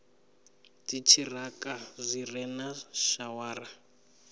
dziṱhirakha zwi re na shawara